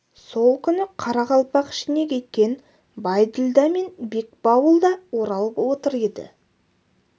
сол күні қарақалпақ ішіне кеткен байділда мен бекбауыл да оралып отыр еді